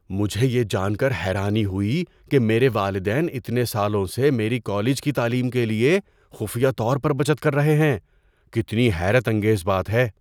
مجھے یہ جان کر حیرانی ہوئی کہ میرے والدین اتنے سالوں سے میری کالج کی تعلیم کے لیے خفیہ طور پر بچت کر رہے ہیں۔ کتنی حیرت انگیز بات ہے!